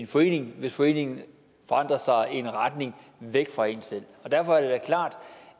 forening hvis foreningen forandrer sig i en retning væk fra en selv og derfor er det da klart